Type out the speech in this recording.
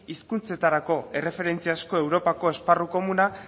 hizkuntzetarako erreferentziazko europako esparru komuna